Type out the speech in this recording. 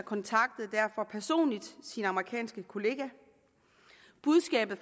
kontaktede derfor personligt sin amerikanske kollega budskabet